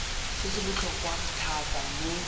se se botlhokwa thata mo